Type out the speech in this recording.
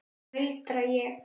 muldra ég.